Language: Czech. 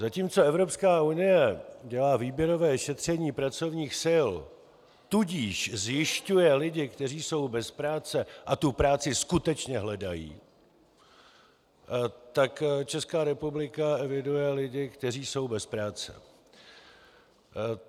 Zatímco Evropská unie dělá výběrové šetření pracovních sil, tudíž zjišťuje lidi, kteří jsou bez práce a tu práci skutečně hledají, tak Česká republika eviduje lidi, kteří jsou bez práce.